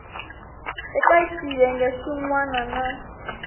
eka xiyenge xin wana na